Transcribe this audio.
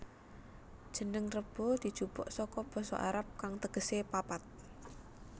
Jeneng Rebo dijupuk saka basa Arab kang tegese papat